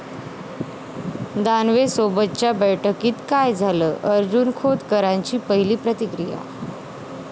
दानवेंसोबतच्या बैठकीत काय झालं? अर्जुन खोतकरांची पहिली प्रतिक्रिया